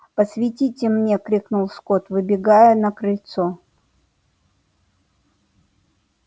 посветите мне крикнул скотт выбегая на крыльцо